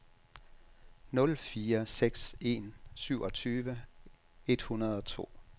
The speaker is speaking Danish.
nul fire seks en syvogtyve et hundrede og to